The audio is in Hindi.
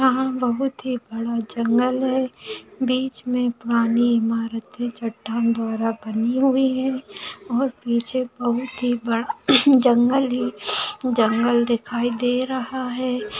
यहा बहुत ही बड़ा जंगल है बीच मे पुरानी इमारते चट्टान द्वारा बनी हुई है और पीछे बहुत ही बड़ा जंगल है जंगल दिखाई दे रहा है।